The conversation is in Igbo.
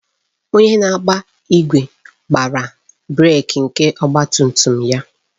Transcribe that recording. Onye na-agba igwe gbara brek nke ọgba tum tum ya